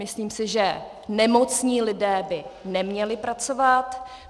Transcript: Myslím si, že nemocní lidé by neměli pracovat.